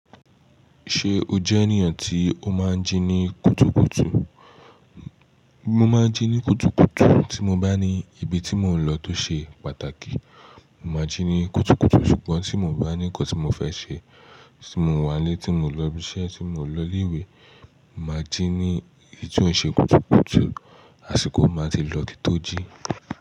Ṣé o jẹ́ ènìyàn tí o máa ń jí ní kùtùkùtù? Mo máa ń jí ní kùtùkùtù tí mo bá ní ibi tí mò ń lọ tó ṣe pàtàkì. Mo máa ń jí ní kùtùkùtù ṣùgbọ́n tí mo bá ní nǹkan tí mo fẹ́ ṣe, tí mò wánlé, tí mò ń lọ ibi iṣẹ́, tí mò ń lọ ilé ìwé, màá jí ní ìtú ǹ ṣe kùtùkùtù, àsìkò máa tí ì lọ òtítọ́ jí.